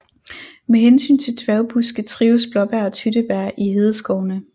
Med hensyn til dværgbuske trives blåbær og tyttebær i hedeskovene